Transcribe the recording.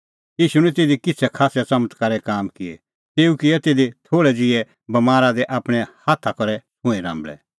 ईशू निं तिधी किछ़ै खास्सै च़मत्कारे काम किऐ तेऊ किऐ तिधी सिधै थोल़ै ज़िहै बमारा दी आपणैं हाथा करै छ़ुंईं राम्बल़ै